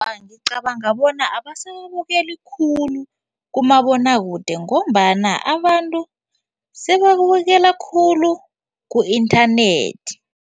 Ngicabanga bona abasa ababukeli khulu kumabonwakude ngombana abantu sebabukela khulu ku-inthanethi.